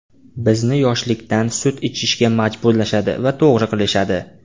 Bizni yoshlikdan sut ichishga majburlashadi va to‘g‘ri qilishadi!